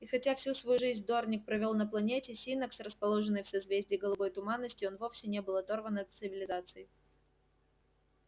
и хотя всю свою жизнь дорник провёл на планете синнакс расположенной в созвездии голубой туманности он вовсе не был оторван от цивилизации